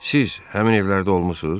Siz həmin evlərdə olmusunuz?